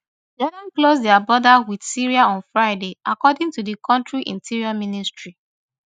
jordan close dia border wit syria on friday according to di kontri interior ministry